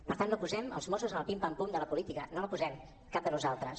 per tant no posem els mossos en el pim·pam·pum de la política no els hi posem cap de nosaltres